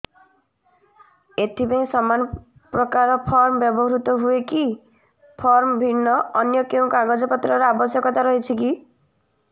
ଏଥିପାଇଁ ସମାନପ୍ରକାର ଫର୍ମ ବ୍ୟବହୃତ ହୂଏକି ଫର୍ମ ଭିନ୍ନ ଅନ୍ୟ କେଉଁ କାଗଜପତ୍ରର ଆବଶ୍ୟକତା ରହିଛିକି